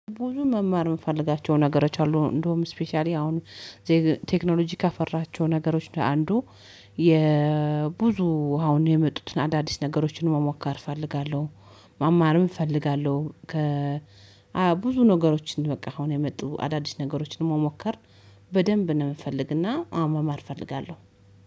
ቡዙ መማር የምፈልጋቸው ነገሮች አሉ እንደውም ስፔሻሊ አሁን ቴክኖሎጂ ካፈራቸው ነገሮች አንዱ የብዙ አሁን የመጡትን አዳዲስ ነገሮችን መሞከር እፈልጋለሁ መማርም እፈልጋለሁ። ከ ብዙ ነገሮችን በቃ አሁን የመጡ አዳዲስ ነገሮችን መሞከር በደንብ ነው ምፈልግና አዎ መማር እፈልጋለሁ